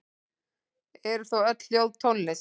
Eru þá öll hljóð tónlist?